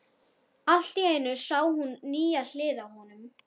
Allt í einu sá hún nýja hlið á honum.